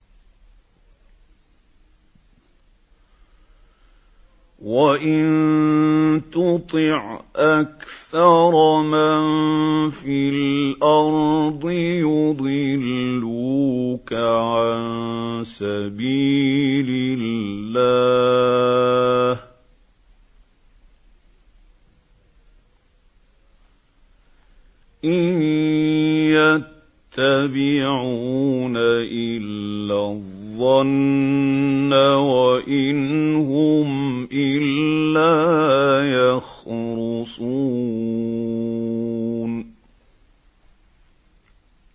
وَإِن تُطِعْ أَكْثَرَ مَن فِي الْأَرْضِ يُضِلُّوكَ عَن سَبِيلِ اللَّهِ ۚ إِن يَتَّبِعُونَ إِلَّا الظَّنَّ وَإِنْ هُمْ إِلَّا يَخْرُصُونَ